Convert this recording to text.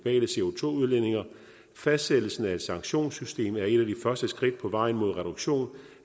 fastsættelsen af et sanktionssystem er et af de første skridt på vejen mod reduktion